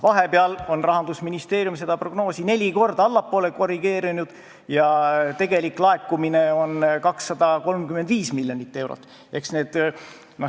Vahepeal on Rahandusministeerium seda prognoosi neli korda allapoole korrigeerinud ja tegelik laekumine on 235 miljonit eurot.